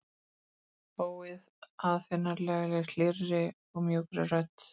Óaðfinnanlega, hlýrri og mjúkri rödd.